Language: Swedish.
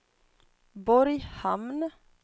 Borghamn